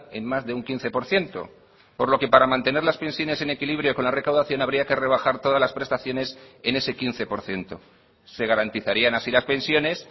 en más de un quince por ciento por lo que para mantener las pensiones en equilibrio con la recaudación habría que rebajar todas las prestaciones en ese quince por ciento se garantizarían así las pensiones